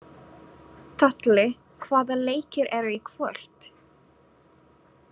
Tolli, hvaða leikir eru í kvöld?